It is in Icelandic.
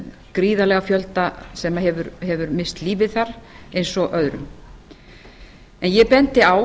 gríðarlega fjölda sem hefur misst lífið þar eins og aðra ég bendi á